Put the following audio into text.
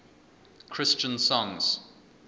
christian songs